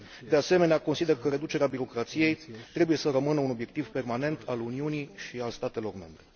De asemenea, consider că reducerea birocrației trebuie să rămână un obiectiv permanent al Uniunii și al statelor membre.